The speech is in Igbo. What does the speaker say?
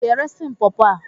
Ị ga-eresị m pọọpo a?